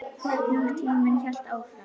Hvernig tíminn hélt áfram.